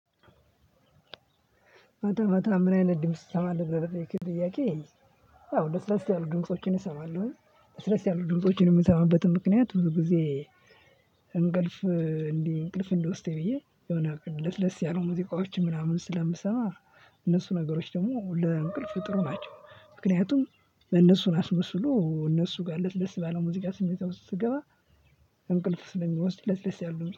ማታ ማታ ምን አይነት ድምጽ ትሰማለህ ብለህ ለጠየከኝ ጥያቄ? ያው ለስለስ ያሉ ድምፆችን እሰማለሁ ለስለስ ያሉ ድምጽችን የምሰማበትን ምክንያት ብዙ ጊዜ። እንቅልፍ እንዲህ እንቅልፍ እንዲወስደኝ ብዬ የሆነ አቅድ ለስለስ ያሉ ሙዚቃዎችን ምናምን ስለምሰማ። እነሱ ነገሮች ደግሞ ለእንቅልፍ ጥሩ ናቸው። ምክንያቱም እነሱን አስመስሎ እነሱ ጋር ለስለስ ባለው ሙዚቃ ስሜት ውስጥ ስገባ። እንቅልፍ ስለሚወስድ ለስለስ ያሉ